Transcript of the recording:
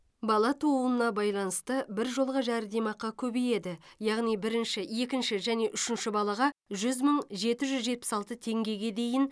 бала тууына байланысты біржолғы жәрдемақы көбейеді яғни бірінші екінші және үшінші балаға жүз мың жеті жүз жетпіс алты теңгеге дейін